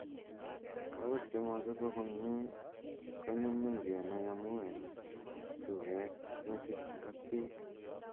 kawek chemachobok konyee konyunyum kenai amuu eng' suweet metit ak beek.